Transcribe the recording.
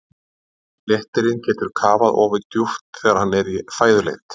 Léttirinn getur kafað afar djúpt þegar hann er í fæðuleit.